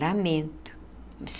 Lamento.